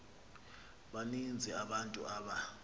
baninzi abantu aba